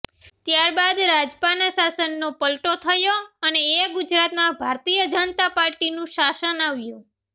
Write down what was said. ત્યારબાદ રાજપાના શાસનનો પલ્ટો થયો અને ગુજરાતમાં ભારતીય જનતા પાર્ટીનું શાસન આવ્યું